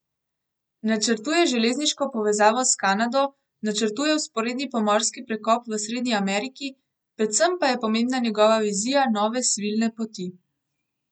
Načrtuje železniško povezavo s Kanado, načrtuje vzporedni pomorski prekop v Srednji Ameriki, predvsem pa je pomembna njegova vizija nove svilne poti.